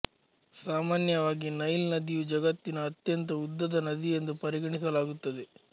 ಸಾಮಾನ್ಯವಾಗಿ ನೈಲ್ ನದಿಯು ಜಗತ್ತಿನ ಅತ್ಯಂತ ಉದ್ದದ ನದಿಯೆಂದು ಪರಿಗಣಿಸಲಾಗುತ್ತದೆ